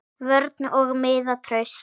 Vörn og miðja traust.